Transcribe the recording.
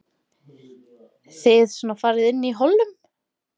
Þið svona farið inn í hollum?